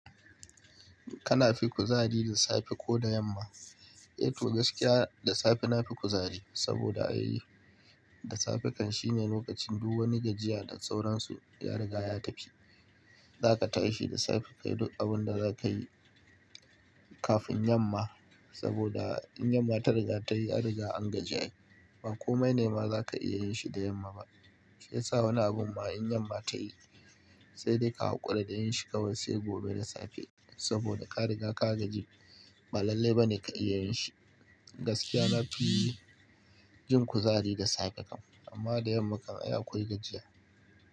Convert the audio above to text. Kanafi kuzari da safe ko da yamma? Eh to gaskiya da safe na fi kuzari, saboda ai da safe kan shine lokacin duk wani gajiya da sauransu ya riga ya tafi. Zaka tashi da safe kayi duk abunda zakayi kafin yamma, saboda in yamma ta riga tayi anriga an gaji. Bakomai ne ma zaka iya yinshi da yamma ba. Shiyasa wani abu ma in yamma tayi sai dai ka haƙura da yinshi kawai sai gobe da safe. Saboda ka riga ka gaji, ba lallai bane ka iya yinshi. Gaskiya na fi jin kuzari da safe kan, amma da yamma kan iya akwai gajiya.